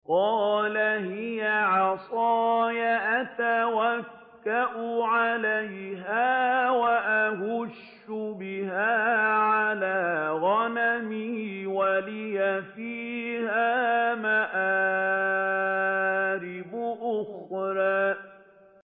قَالَ هِيَ عَصَايَ أَتَوَكَّأُ عَلَيْهَا وَأَهُشُّ بِهَا عَلَىٰ غَنَمِي وَلِيَ فِيهَا مَآرِبُ أُخْرَىٰ